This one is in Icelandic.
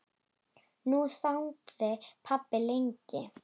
Nú þagði pabbi lengi.